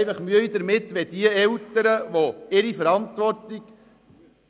Ich habe Mühe, wenn Eltern, die ihre Verantwortung